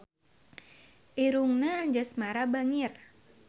Irungna Anjasmara bangir